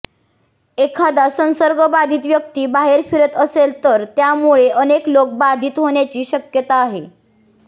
एखादा संसर्गबाधित व्यक्ती बाहेर फिरत असेल तर त्यामुळे अनेक लोक बाधित होण्याची शक्यता आहे